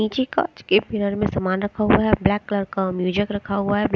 नीचे काँच के मीरर में सामान रखा हुआ है अ ब्लैक कलर का म्यूजक रखा हुआ है।